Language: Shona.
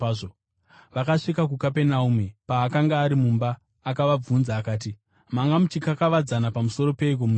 Vakasvika kuKapenaume. Paakanga ari mumba, akavabvunza akati, “Manga muchikakavadzana pamusoro peiko munzira?”